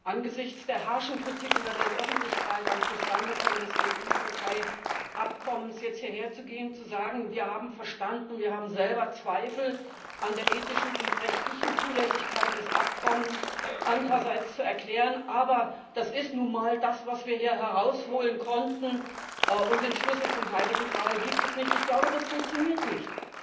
Angesichts der harschen Kritik in der Weltöffentlichkeit am Zustandekommen des EU Türkei Abkommens jetzt hierher zu gehen und zu sagen Wir haben verstanden, wir haben selber Zweifel an der ethischen und rechtlichen Zulässigkeit des Abkommens, andererseits zu erklären Aber das ist nun mal das, was wir hier herausholen konnten, und den Schlüssel zum heiligen Gral gibt es nicht ich glaube, das funktioniert nicht.